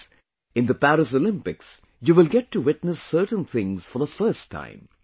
Friends, in the Paris Olympics, you will get to witness certain things for the first time